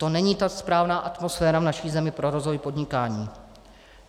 To není ta správná atmosféra v naší zemi pro rozvoj podnikání.